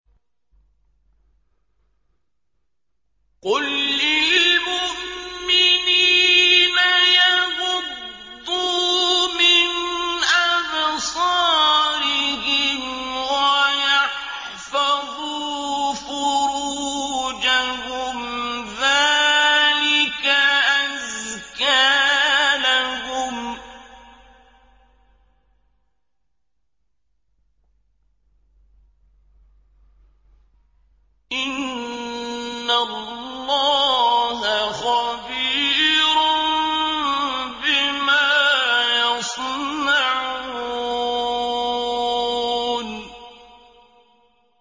قُل لِّلْمُؤْمِنِينَ يَغُضُّوا مِنْ أَبْصَارِهِمْ وَيَحْفَظُوا فُرُوجَهُمْ ۚ ذَٰلِكَ أَزْكَىٰ لَهُمْ ۗ إِنَّ اللَّهَ خَبِيرٌ بِمَا يَصْنَعُونَ